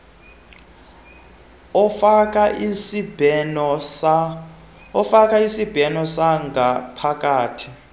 ofaka isibheno sangaphakathi